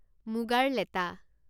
মুগাৰ লেটা